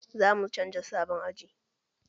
Zamu canza sabon aji